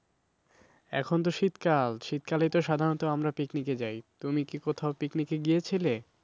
এখন তো শীতকাল। শীতকালেই তো সাধারণত আমরা picnic যাই। তুমি কি কোথাও picnic গিয়েছিলে?